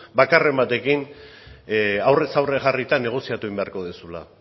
bakarren batekin aurrez aurre jarrita negoziatu egin beharko duzula